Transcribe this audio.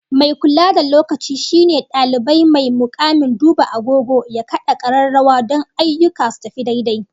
Mai kula da lokaci shine dalibai mai mukamin duba agogo ya kada kararrawa don ayyuka su tafi daidai